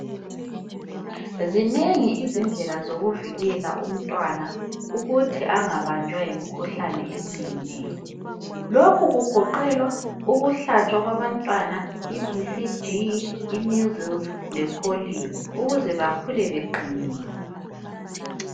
Zinengi izindlela zokuvikela umntwana ukuthi angabanjwa yimkhuhlane eminengi nengi. Lokhu kugoqela ukuhlatshwa kwabantwana iBCG, imeasles lepolio ukuze bakhule beqinile.